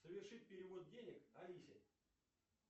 совершить перевод денег алисе